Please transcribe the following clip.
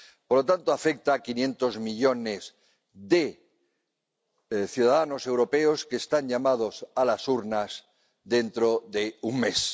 Por lo tanto, afecta a quinientos millones de ciudadanos europeos que están llamados a las urnas dentro de un mes.